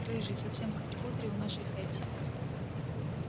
рыжий совсем как кудри у нашей хэтти